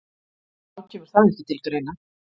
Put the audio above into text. Þá kemur það ekki til greina